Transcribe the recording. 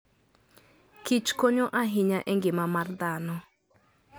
Kich konyo ahinya engima mar dhano.